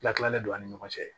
Tila tilalen don an ni ɲɔgɔn cɛ